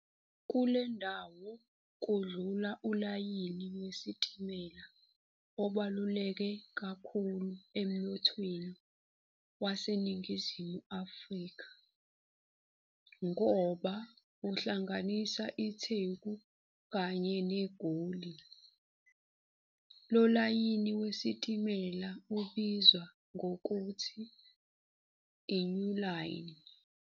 Kulendawo kudlula ulayini wesitimela obaluleke kakhulu emnothweni waseNingizimu Afrika, ngoba uhlanganisa iTheku kanye neGoli, lolayini wesitimela ubizwa ngokuthi i-"New Line".